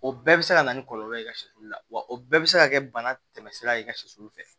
O bɛɛ bɛ se ka na ni kɔlɔlɔ ye i ka sɛlu la wa o bɛɛ bɛ se ka kɛ bana tɛmɛ sira ye i ka sɛsulu fɛ